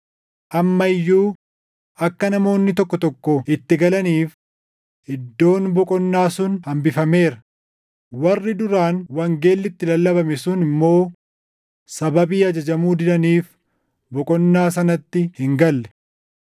Amma iyyuu akka namoonni tokko tokko itti galaniif iddoon boqonnaa sun hambifameera; warri duraan wangeelli itti lallabame sun immoo sababii ajajamuu didaniif boqonnaa sanatti hin galle.